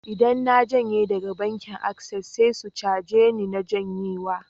Idan na janye daga bankin Access, sai su caje ni na janyewa